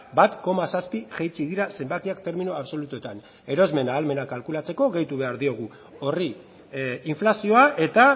bat koma zazpi jaitsi dira zenbakiak termino absolutuetan erosmen ahalmena kalkulatzeko gehitu behar diogu horri inflazioa eta